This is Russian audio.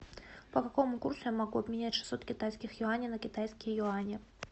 по какому курсу я могу обменять шестьсот китайских юаней на китайские юани